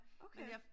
Okay